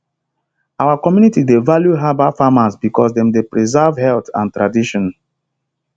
our community dey value herbal farmers because dem dey preserve health and tradition